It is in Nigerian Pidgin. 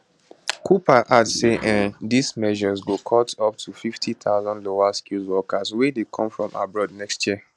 cooper add say um dis new measures go cut up to 50000 lowerskilled workers wey dey come from abroad next year